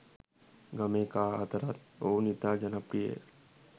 ගමේ කා අතරත් ඔවුන් ඉතා ජනප්‍රියය.